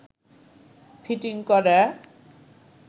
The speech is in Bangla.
ফিটিং করা